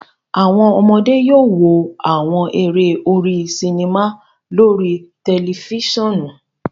Awọn ọmọde yóò wò awọn eré orí sinima lórí tẹlifisiọnu